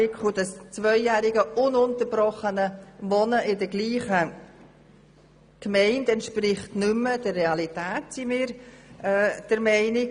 Das zweijährige ununterbrochene Wohnen in der gleichen Gemeinde entspricht unserer Meinung nach nicht mehr der Realität.